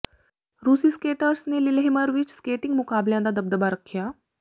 ਰੂਸੀ ਸਕੈਟਰਸ ਨੇ ਲਿਲੇਹਮਰ ਵਿਚ ਸਕੇਟਿੰਗ ਮੁਕਾਬਲਿਆਂ ਦਾ ਦਬਦਬਾ ਰੱਖਿਆ